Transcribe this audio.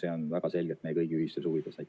see on väga selgelt meie kõigi ühistes huvides.